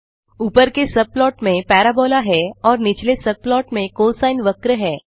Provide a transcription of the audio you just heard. ऊपर के सबप्लॉट में पाराबोला है और निचले सबप्लॉट में कोसाइन वक्र है